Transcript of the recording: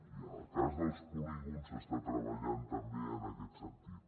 i en el cas dels polígons s’està treballant també en aquest sentit